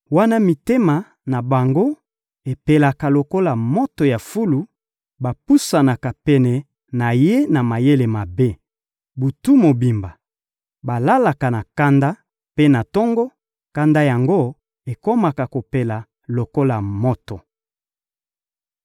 Wana mitema na bango epelaka lokola moto ya fulu, bapusanaka pene na ye na mayele mabe. Butu mobimba, balalaka na kanda; mpe na tongo, kanda yango ekomaka kopela lokola moto.